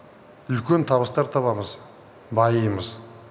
үлкен табыстар табамыз байимыз